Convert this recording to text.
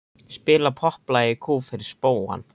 Spila popplag í kú fyrir spóann.